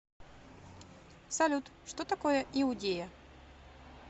салют что такое иудея